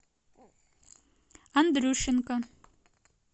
андрющенко